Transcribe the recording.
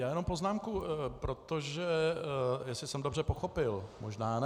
Já jenom poznámku, protože jestli jsem dobře pochopil, možná ne.